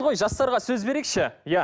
жастарға сөз берейікші иә